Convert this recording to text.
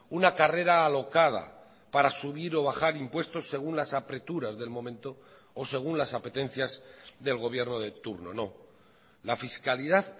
una carrera alocada para subir o bajar impuestos según las apreturas del momento o según las apetencias del gobierno de turno no la fiscalidad